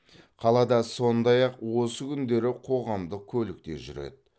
қалада сондай ақ осы күндері қоғамдық көлік те жүреді